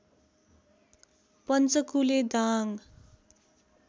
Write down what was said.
Panchakule Dang